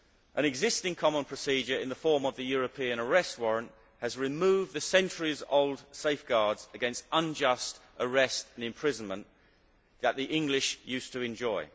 An existing common procedure in the form of the European Arrest Warrant has removed the centuries old safeguards against unjust arrest and imprisonment that the English used to enjoy.